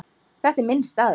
Þetta er minn staður.